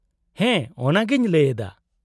-ᱦᱮᱸ ᱚᱱᱟᱜᱮᱧ ᱞᱟᱹᱭᱮᱫᱟ ᱾